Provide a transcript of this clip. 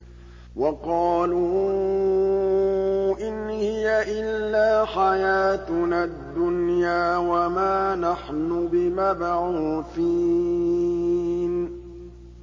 وَقَالُوا إِنْ هِيَ إِلَّا حَيَاتُنَا الدُّنْيَا وَمَا نَحْنُ بِمَبْعُوثِينَ